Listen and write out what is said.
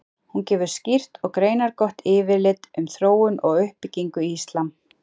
Hún gefur skýrt og greinargott yfirlit um þróun og uppbyggingu íslam.